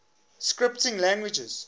scripting languages